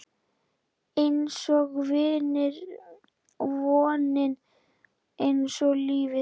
Einsog vonin, einsog lífið